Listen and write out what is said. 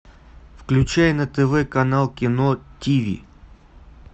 включай на тв канал кино тиви